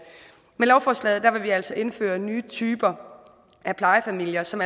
med lovforslaget vil vi altså indføre nye typer af plejefamilier som